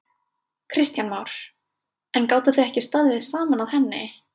Kristján Már: En gátuð þið ekki staðið saman að henni?